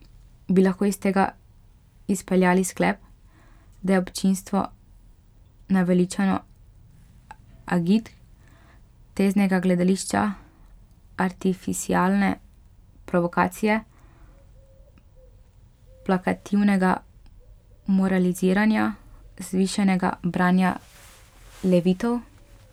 Bi lahko iz tega izpeljali sklep, da je občinstvo naveličano agitk, teznega gledališča, artificialne provokacije, plakativnega moraliziranja, vzvišenega branja levitov?